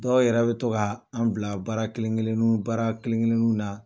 Dɔw yɛrɛ bɛ to ka an bila baara kelen-keleniw baara kelen-keleniw na.